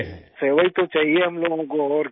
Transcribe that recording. राजेश प्रजापति सेवा ही तो चाहिए हम लोगों को और क्या